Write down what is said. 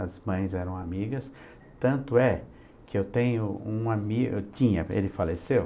As mães eram amigas, tanto é que eu tenho um ami,, eu tinha, ele faleceu,